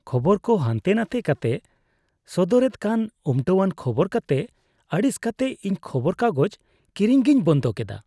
ᱠᱷᱚᱵᱚᱨ ᱠᱚ ᱦᱟᱱᱛᱮᱼᱱᱟᱛᱮ ᱠᱟᱛᱮᱜ ᱥᱚᱫᱚᱨᱮᱫ ᱠᱟᱱ ᱩᱢᱴᱟᱹᱣᱟᱱ ᱠᱷᱚᱵᱚᱨ ᱠᱚᱛᱮ ᱟᱹᱲᱤᱥ ᱠᱟᱛᱮᱜ ᱤᱧ ᱠᱷᱚᱵᱚᱨ ᱠᱟᱜᱚᱡᱽ ᱠᱤᱨᱤᱧ ᱜᱮᱧ ᱵᱚᱱᱫᱚ ᱠᱮᱫᱟ ᱾